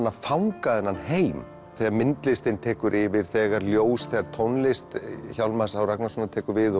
að fanga þennan heim þegar myndlistin tekur yfir þegar ljós þegar tónlist Hjálmars Ragnarssonar tekur við